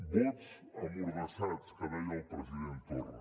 vots emmordassats que deia el president torra